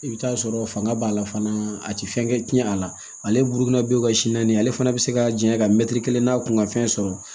I bɛ taa sɔrɔ fanga b'a la fana a tɛ fɛn kɛ tiɲɛ a la ale buru si naani ye ale fana be se ka janya ka mɛtiri kelen n'a kun ka fɛn sɔrɔ